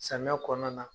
Samiya kɔnɔna na